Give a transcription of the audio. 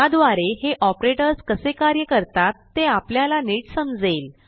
त्याद्वारे हे ऑपरेटर्स कसे कार्य करतात ते आपल्याला नीट समजेल